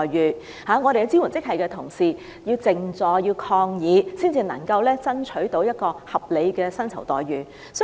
醫管局的支援職系人員必須靜坐抗議，才能爭取合理的薪酬待遇。